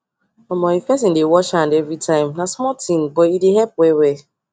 Omo if person dey wash am everytime nah small things but e dey help well well